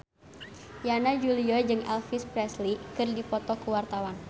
Yana Julio jeung Elvis Presley keur dipoto ku wartawan